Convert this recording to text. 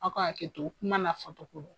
Aw ka haketo kuma na fɔcogo don.